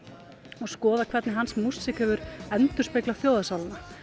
og skoða hvernig hans músík hefur endurspeglað þjóðarsálina